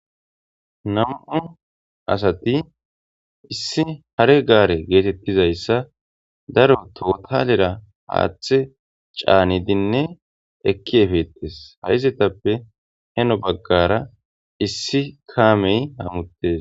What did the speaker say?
Namu7u asati issi hare gaare geetettizayssa daro tohotalera haaththe caanidinne ekki efettes haizetappe heno baggara issi kaamey hamuttes.